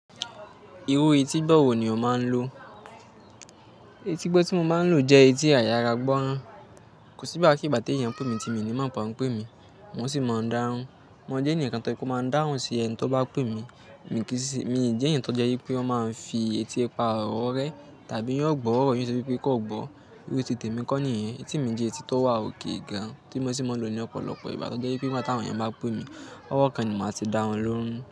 Irú etígbọ̀ wọ̀ ní o máa n lò? Etígbọ̀ tí mo máa n lò jẹ́ etí àyára gbọ́ràn. Kò sí ìgbà kí ìgbà tí èèyàn n pè mí tí èmi ni mọ pé wọ́n ń pè mí, mo sì máa ń dáhùn. Mo jẹ́ ẹnìkan tó jẹ́ wípé ó máa ń dáhùn sí ẹni tó bá pè mí èmi kì í ṣe, mi ò jẹ́ ènìyàn tó jẹ́ wípé wọ́n máa ń fi etí pa ọ̀orẹ́ tàbí yóò gbọ́ ọ̀rọ̀ yẹn ṣe wípé kó gbọ́. Irú tìtẹ̀ mi kọ́ nìyí. Etí mi jẹ́ etí tó wà okay gan tí mo sì máa ń lò ní ọ̀pọ̀lọpọ̀ ìgbà. Tọ́ jẹ́ wípé nígbà tí àwọn èèyàn bá pè mí, ọwọ́ kan ni màá ti dáhùn lóhùn.